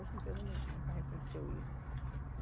Hoje a empresa nun nunca reconheceu isso.